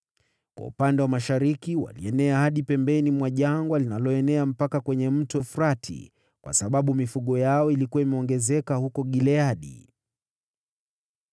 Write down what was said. Kwa upande wa mashariki walienea hadi pembeni mwa jangwa linaloenea mpaka kwenye Mto Frati, kwa sababu mifugo yao ilikuwa imeongezeka huko Gileadi.